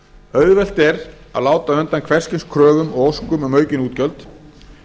auðvelt er að láta undan hvers kyns kröfum og óskum um aukin útgjöld